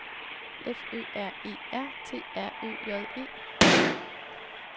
F Ø R E R T R Ø J E